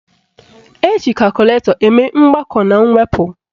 Eji kakụlatọ eme mgbakọ na mwepụ